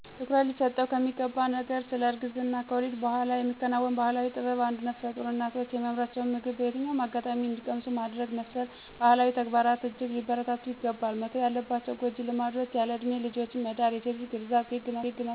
ትኩረት ሊሰጠው ከሚገባ ስለ እርግዝና/ከወሊድ በኋላ የሚከናወን ባህላዊ ጥበብ አንዱ ነፍሰጡር እናቶ የሚያምራቸውን ምግብ በየትኛውም አጋጣሚ እንዲቀምሱ ማድረግ መሰል ባህላዊ ተግባራት እጅግ ሊበረታቱ ይገባል። መተው ያለባቸው ጎጂ ልማዶች ያለእድሜ ልጆችን መዳር፣ የሴት ልጅ ግርዛት፣ ግግ ማስቧጠጥ፣ ከስድስት ወር በታች የሆነን ህፃን ቅቤ ማዋጥ፣ ወዘተርፈ ውስጥ ጥቂቶች ናቸው።